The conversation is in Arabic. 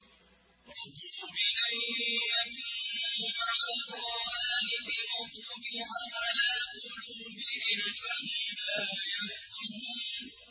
رَضُوا بِأَن يَكُونُوا مَعَ الْخَوَالِفِ وَطُبِعَ عَلَىٰ قُلُوبِهِمْ فَهُمْ لَا يَفْقَهُونَ